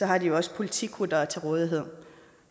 har de jo også politikuttere til rådighed